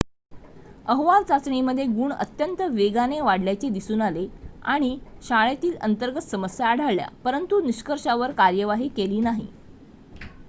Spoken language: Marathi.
अहवाल चाचणीमध्ये गुण अत्यंत वेगाने वाढल्याचे दिसून आले आणि शाळेतील अंतर्गत समस्या आढळल्या परंतु निष्कर्षांवर कारवाई केली नाही